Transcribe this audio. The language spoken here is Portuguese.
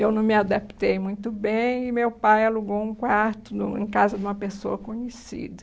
Eu não me adaptei muito bem e meu pai alugou um quarto em casa de uma pessoa conhecida.